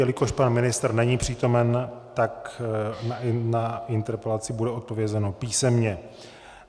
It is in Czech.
Jelikož pan ministr není přítomen, tak na interpelaci bude odpovězeno písemně.